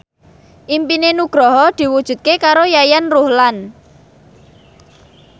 impine Nugroho diwujudke karo Yayan Ruhlan